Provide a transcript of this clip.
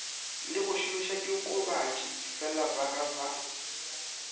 le go šomišadiokobatši felabaga ba